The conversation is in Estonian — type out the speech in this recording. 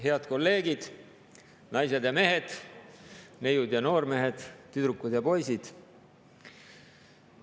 Head kolleegid, naised ja mehed, neiud ja noormehed, tüdrukud ja poisid!